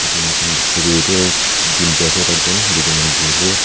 etu moikhan dikhia toh ete gym te ase taijen duijen manu buhi ase.